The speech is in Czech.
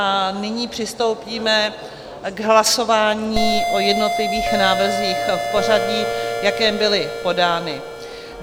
A nyní přistoupíme k hlasování o jednotlivých návrzích v pořadí, v jakém byly podány.